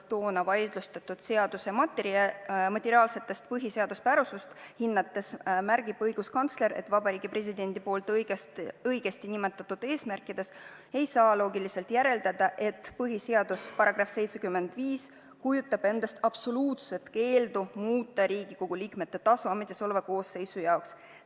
Toona vaidlustatud seaduse materiaalset põhiseaduspärasust hinnates märgib õiguskantsler, et Vabariigi Presidendi poolt õigesti nimetatud eesmärkidest ei saa loogiliselt järeldada, et põhiseaduse § 75 kujutab endast absoluutset keeldu muuta Riigikogu liikmete tasu ametisoleva koosseisu jaoks.